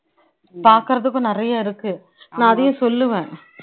பாக்குறதுக்கும் நிறைய இருக்கு, நான் அதையும் சொல்லுவேன்.